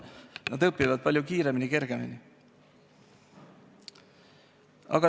Nad õpivad palju kiiremini-kergemini.